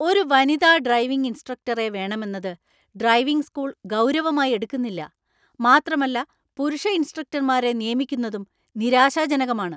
ഒരു വനിതാ ഡ്രൈവിംഗ് ഇൻസ്ട്രക്ടറെ വേണമെന്നത് ഡ്രൈവിംഗ് സ്കൂൾ ഗൗരവമായി എടുക്കുന്നില്ല, മാത്രമല്ല പുരുഷ ഇൻസ്ട്രക്ടർമാരെ നിയമിക്കുന്നതും നിരാശാജനകമാണ്.